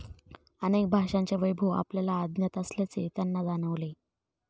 अनेक भाषांचे वैभव आपल्याला अज्ञात असल्याचे त्यांना जाणवले.